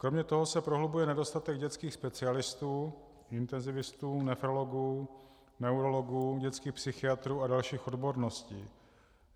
Kromě toho se prohlubuje nedostatek dětských specialistů - intenzivistů, nefrologů, neurologů, dětských psychiatrů a dalších odborností.